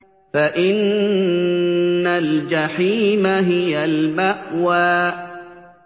فَإِنَّ الْجَحِيمَ هِيَ الْمَأْوَىٰ